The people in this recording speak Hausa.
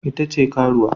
Ita ce karuwa